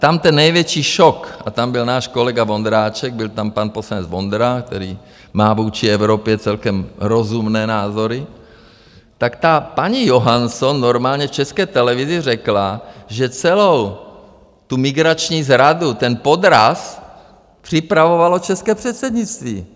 Tam ten největší šok, a tam byl náš kolega Vondráček, byl tam pan poslanec Vondra, který má vůči Evropě celkem rozumné názory, tak ta paní Johansson normálně v České televizi řekla, že celou tu migrační zradu, ten podraz, připravovalo české předsednictví.